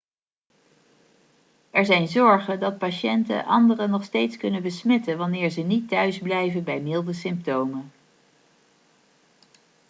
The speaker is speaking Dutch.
er zijn zorgen dat patiënten anderen nog steeds kunnen besmetten wanneer ze niet thuisblijven bij milde symptomen